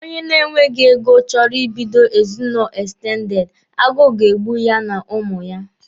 Onye na-enweghi ego chọrọ Ị bido ezinụlọ ekstendede, agụụ ga-egbu ya na ụmụ ya.